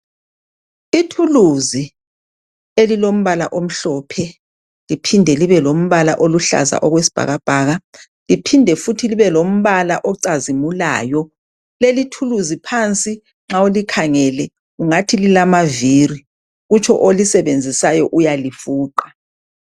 Ithuluzi elilombala omhlophe liphinde libe lombala oluhlaza okwesibhakabhaka liphinde futhi libelombala ocazimulayo leli thuluzi phansi nxa ulikhangele ungathi lilamavili kutsho olisebenzisayo uyalifuqa.